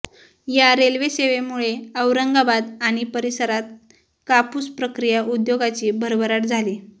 या रेल्वे सेवेमुळे औरंगाबाद आणि परिसरात कापूस प्रक्रिया उद्योगाची भरभराट झाली